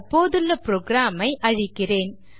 தற்போதுள்ள program ஐ அழிக்கிறேன்